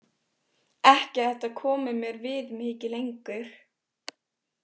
Ekki að þetta komi mér við mikið lengur.